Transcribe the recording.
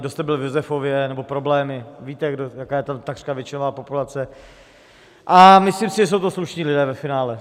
Kdo jste byl v Josefově - nebo problémy - víte, jaká je tam takřka většinová populace, a myslím si, že jsou to slušní lidé ve finále.